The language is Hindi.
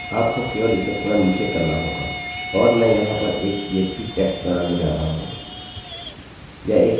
यह एक अजीब भूरे रंग का दिख रहा है क्योंकि हम पीएचपीphpहाइलाइटिंग पर कार्य कर रहे हैं और यह सचमुच में इस प्रकार की हाइलाइटिंग को पहचान नहीं रहा है